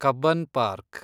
Cubbon park